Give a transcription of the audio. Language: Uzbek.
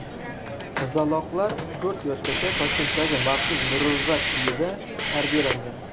Qizaloqlar to‘rt yoshgacha Toshkentdagi maxsus muruvvat uyida tarbiyalangan.